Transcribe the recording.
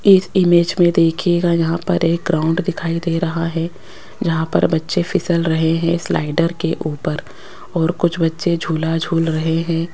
इस इमेज में देखीयेगा यहां पर एक राउंड दिखाई दे रहा है यहां पर बच्चे फिसल रहे हैं स्लाइडर के ऊपर और कुछ बच्चे झूला झूल रहे हैं।